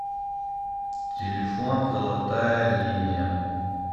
телефон золотая линия